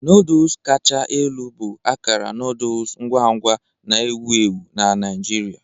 Noodles kacha elu bụ akara noodle ngwa ngwa na-ewu ewu na Naijiria.